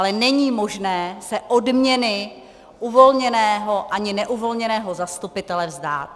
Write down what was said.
Ale není možné se odměny uvolněného ani neuvolněného zastupitele vzdát.